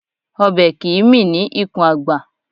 Ọbẹ̀ kìí mì ní ikùn àgbà